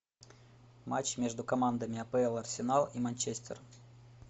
матч между командами апл арсенал и манчестер